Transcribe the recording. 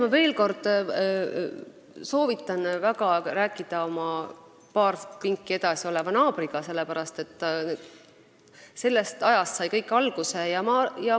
Ma veel kord väga soovitan rääkida paar pinki edasi istuva naabriga, sest tema ajast sai kõik alguse.